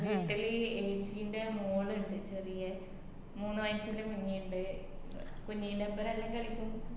വീട്ടില് ഏച്ചിന്റെ മോളിണ്ട് ചെറിയെ മൂന്ന് വയസ്സിള്ള കുഞ്ഞി ഇണ്ട് കുഞ്ഞിൻടോപ്പരം എല്ലൊം കളിക്കും